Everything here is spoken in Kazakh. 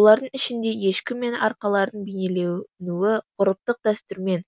олардың ішінде ешкі мен арқарлардың бейнелейнуі ғұрыптық дәстүрмен